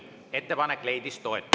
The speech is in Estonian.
Ettepanek leidis toetust.